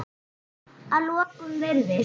Að lokum virðist